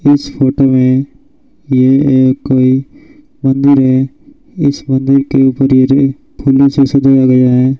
इस फोटो में ये एक कोई मंदिर है इस मंदिर के फूलों से सजाया गया है।